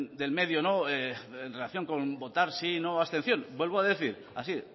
del medio en relación con votar sí no abstención vuelvo a decir así